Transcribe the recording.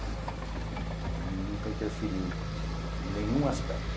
Ele nunca interferiu em nenhum aspecto.